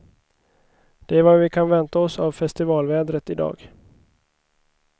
Det är vad vi kan vänta oss av festivalvädret i dag.